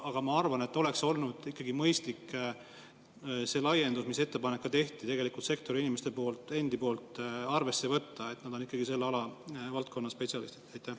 Aga ma arvan, et oleks olnud mõistlik seda laiendust, mille kohta sektori inimesed ise ettepaneku tegid, arvesse võtta, sest nad on ikkagi selle valdkonna spetsialistid.